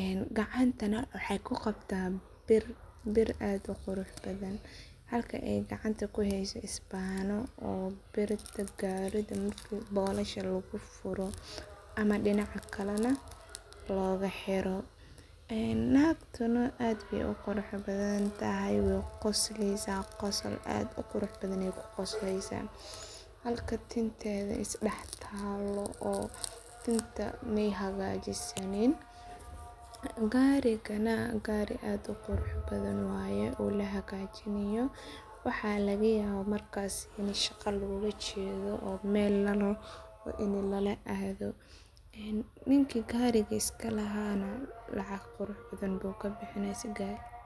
een gacantana maxay ku qabtaan biir aad u qurux badhan halka ay gacanta ku hayso isbaano oo bolosha garidha lagufuro ama dinaca kale na looga xiro. Eeen nagtuna aad baay u qurux badhan tahay wayna qosleysa, qosol aad u qurux badhan aay ku qosleysa, halka tintedha is dax taalo oo tinta maay hagajisanin. Gaarigana, gaari aad u qurux badhan wayee oo la hagajinayo waxa laga yaawa markaas in shaqa loola jeedho oo meel ini lala adhoo, eenninki gariga is ka lahaa na lacag qurux badhan buu ka bixini si gariga.